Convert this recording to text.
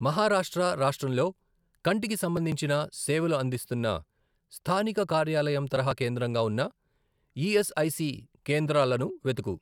మహారాష్ట్ర రాష్ట్రంలో కంటికి సంబంధించిన సేవలు అందిస్తున్న స్థానిక కార్యాలయం తరహా కేంద్రంగా ఉన్న ఈఎస్ఐసి కేంద్రాలను వెతుకు